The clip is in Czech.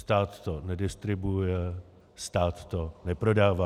Stát to nedistribuuje, stát to neprodává.